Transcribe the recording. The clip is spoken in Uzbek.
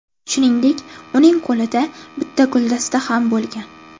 Shuningdek, uning qo‘lida bitta guldasta ham bo‘lgan.